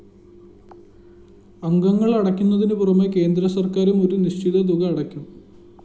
അംഗങ്ങള്‍ അടയ്ക്കുന്നതിനു പുറമേ കേന്ദ്രസര്‍ക്കാരും ഒരു നിശ്ചിത തുക അടയ്ക്കും